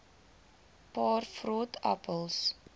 paar vrot appels